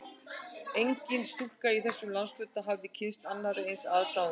Engin stúlka í þessum landshluta hafði kynnst annarri eins aðdáun